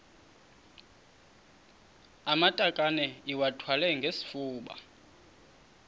amatakane iwathwale ngesifuba